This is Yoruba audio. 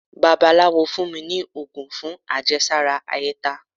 bàbálawo fún mí ní ogún fún àjésárá áyetá